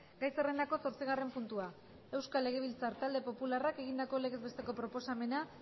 gai zerrendako zortzigarren puntua euskal legebiltzar talde popularrak egindako legez besteko proposamena